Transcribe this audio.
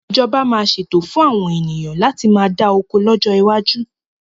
Ìjọba máa ṣètò fún àwọn ènìyàn láti má dá oko lọ́jọ́ iwájú